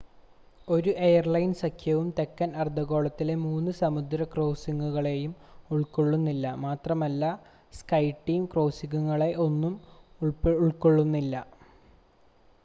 ഒരു എയർലൈൻ സഖ്യവും തെക്കൻ അർധഗോളത്തിലെ മൂന്ന് സമുദ്ര ക്രോസിംഗുകളെയും ഉൾക്കൊള്ളുന്നില്ല മാത്രമല്ല സ്കൈടീം ക്രോസിംഗുകളെ ഒന്നും ഉൾക്കൊള്ളുന്നില്ല